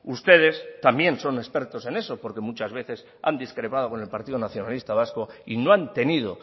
ustedes también son expertos en eso porque muchas veces han discrepado con el partido nacionalista vasco y no han tenido